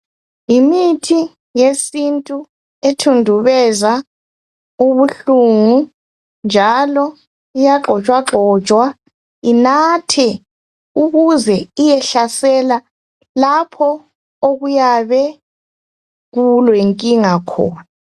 Yimithi yesintu ethundubeza ubuhlungu njalo iyagxotshwagxotshwa inathwe ukuze iyehlasela lapho okuyabe kulenkinga khona.